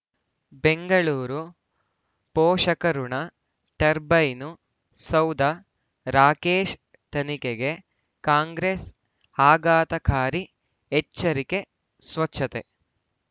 ಬೆಂಗಳೂರು ಪೋಷಕರಋಣ ಟರ್ಬೈನು ಸೌಧ ರಾಕೇಶ್ ತನಿಖೆಗೆ ಕಾಂಗ್ರೆಸ್ ಆಘಾತಕಾರಿ ಎಚ್ಚರಿಕೆ ಸ್ವಚ್ಛತೆ